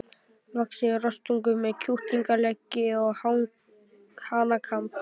vaxinn rostung með kjúklingaleggi og hanakamb.